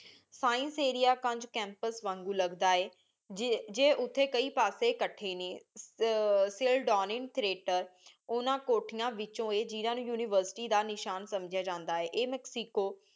science area campus ਵਾਂਗੂ ਲਗਦਾ ਹੈ ਜੇ ਉਥੇ ਕਈ ਪਾਸੇ ਇਕੱਠੇ ਨੇ ਓਹਨਾ ਕੋਠੀਆਂ ਵਿਚੋਂ ਇਹ ਉਨਿਵੇਰ੍ਸਿਟੀ ਦਾ ਨਿਸ਼ਾਨ ਸੰਜਯ ਜਾਂਦਾ ਹੈ ਇਹ ਮੇਕ੍ਸਿਕੋ